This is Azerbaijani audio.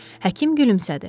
Həkim gülümsədi.